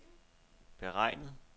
beregnet